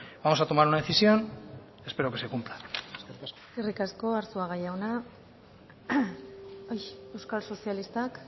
vamos a tomar una decisión espero que se cumpla eskerrik asko arzuaga jauna euskal sozialistak